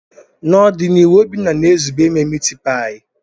N'ọdịnihu, Obinna na-ezube ime mitipai.